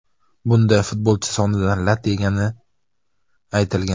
Bunda futbolchi sonidan lat yegani aytilgan.